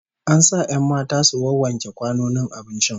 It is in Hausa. An sa 'yan matan su wawwanke kwanonin abincin